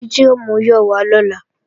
Títí ò múyọ̀ wá lọ́la